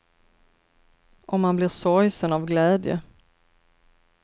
Och man blir sorgsen av glädje.